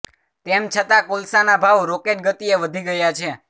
તેમ છતાં કોલસાના ભાવ રોકેટ ગતિએ વધી ગયા છે